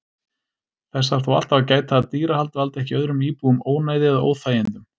Þess þarf þó alltaf að gæta að dýrahald valdi ekki öðrum íbúum ónæði eða óþægindum.